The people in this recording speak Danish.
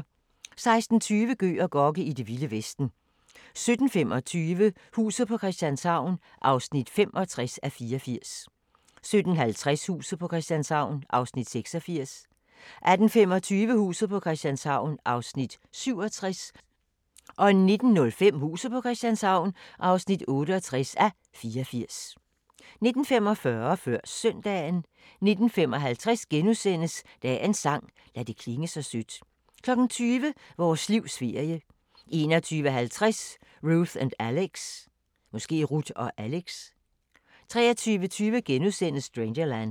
16:20: Gøg og Gokke: I det vilde vesten 17:25: Huset på Christianshavn (65:84) 17:50: Huset på Christianshavn (66:84) 18:25: Huset på Christianshavn (67:84) 19:05: Huset på Christianshavn (68:84) 19:45: Før Søndagen 19:55: Dagens sang: Lad det klinge sødt * 20:00: Vores livs ferie 21:50: Ruth & Alex 23:20: Strangerland *